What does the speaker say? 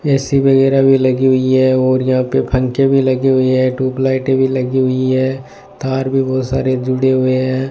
AC वगैरा भी लगी हुई है और यहां पे पंखे भी लगे हुए हैं ट्यूबलाइटें भी लगी हुईं हैं तार भी बहुत सारे जुड़े हुए हैं।